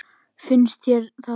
Finnst þér það já.